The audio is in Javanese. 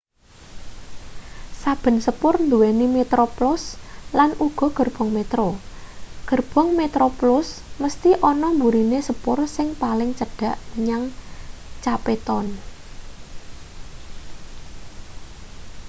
saben sepur nduweni metroplus lan uga gerbong metro gerbong metroplus mesthi ana mburine sepur sing paling cedhak menyang cape town